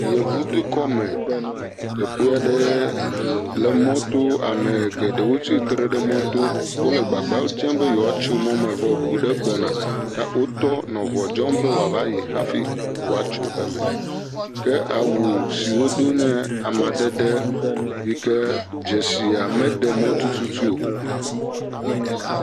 Yevudukɔme, teƒe aɖe le moto, ame geɖewo tsi tre ɖe moto wole agbagba dzem be yewoatso mɔ me vɔ ŋu aɖe gbɔna ta wotɔ mɔ ŋua dzɔm be woava yi hafi yewoatso mɔ me ke awu si wodo nye amadede yi ke dzesia meɖe mɔ tututu o.